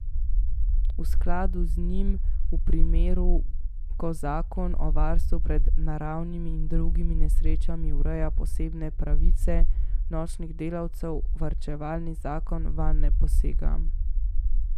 V skladu z njim v primeru, ko zakon o varstvu pred naravnimi in drugimi nesrečami ureja posebne pravice nočnih delavcev, varčevalni zakon vanj ne posega.